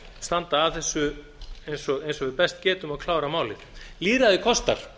standa að þessu eins og við best getum og klára málið lýðræðið kostar